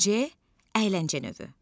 C əyləncə növü.